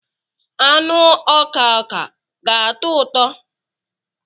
Anụ ọka ọka ga-atọ ụtọ?